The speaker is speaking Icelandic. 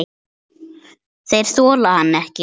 Þeir þola hann ekki.